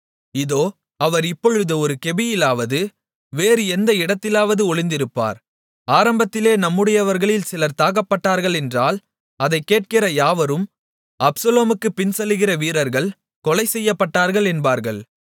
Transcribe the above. இதோ அவர் இப்பொழுது ஒரு கெபியிலாவது வேறு எந்த இடத்திலாவது ஒளிந்திருப்பார் ஆரம்பத்திலே நம்முடையவர்களில் சிலர் தாக்கப்பட்டார்கள் என்றால் அதைக் கேட்கிற யாவரும் அப்சலோமுக்குப் பின்செல்லுகிற வீரர்கள் கொலை செய்யப்பட்டார்கள் என்பார்கள்